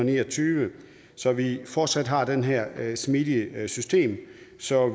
og ni og tyve så vi fortsat har det her smidige system så